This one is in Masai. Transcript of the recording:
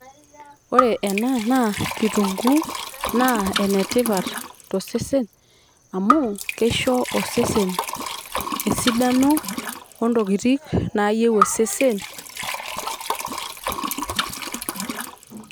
Ore ena naa kitunguu naa enetipat to sesen amuu keisho osesen esidano oo intokitin naayieu osesen